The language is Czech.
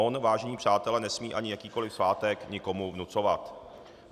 On, vážení přátelé, nesmí ani jakýkoli svátek nikomu vnucovat.